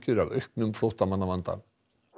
af auknum flóttamannavanda